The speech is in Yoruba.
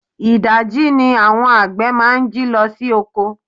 Idaji ni àwọn àgbè máa ń jí lọ sí oko.